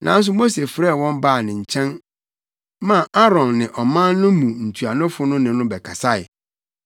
Nanso Mose frɛɛ wɔn baa ne nkyɛn maa Aaron ne ɔman no mu ntuanofo ne no bɛkasae.